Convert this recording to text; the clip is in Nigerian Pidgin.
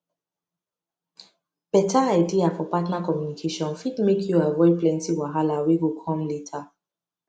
beta idea for partner communication fit make you avoid plenty wahala wey go come later